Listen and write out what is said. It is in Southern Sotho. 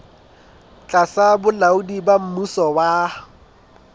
tlasa bolaodi ba mmuso wa